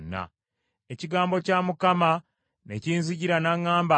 Ekigambo kya Mukama ne kinzijira, n’aŋŋamba nti,